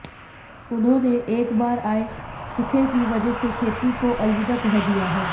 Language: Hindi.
उन्होंने एक बार आए सूखे की वजह से खेती को अलविदा कह दिया है